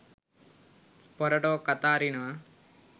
පොර ටෝක් අත අරිනවා.